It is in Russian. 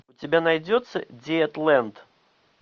у тебя найдется диетлэнд